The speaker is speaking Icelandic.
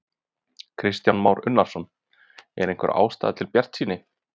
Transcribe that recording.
Kristján Már Unnarsson: Er einhver ástæða til bjartsýni?